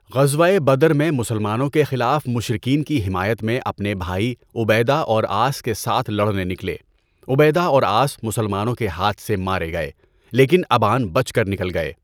غزوۂ Badr میں مسلمانوں کے خلاف مشرکین کی حمایت میں اپنے بھائی عبیدہ اور عاص کے ساتھ لڑنے نکلے، عبیدہ اور عاص مسلمانوں کے ہاتھ سے مارے گئے، لیکن ابان بچ کر نکل گئے۔